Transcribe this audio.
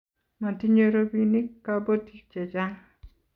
matinyei robinik kabotik che chang